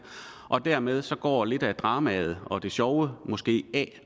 og dermed går lidt af dramaet og det sjove måske af